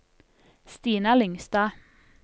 Stina Lyngstad